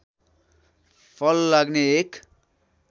फल लाग्ने एक